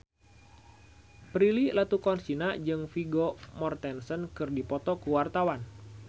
Prilly Latuconsina jeung Vigo Mortensen keur dipoto ku wartawan